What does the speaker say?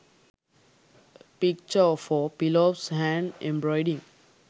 picture for pillows hand embroiding